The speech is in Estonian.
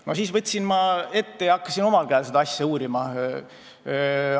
No siis ma võtsin ette ja hakkasin omal käel seda asja uurima.